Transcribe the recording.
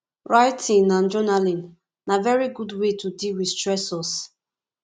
writing and journaling na very good wey to deal with stressors